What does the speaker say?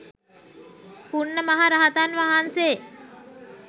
පුණ්ණ මහ රහතන් වහන්සේ